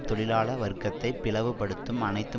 தொழிலாள வர்க்கத்தை பிளவுபடுத்தும் அனைத்து